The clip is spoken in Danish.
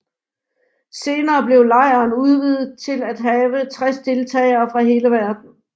Senere blev lejren udvidet til at have 60 deltagere fra hele verden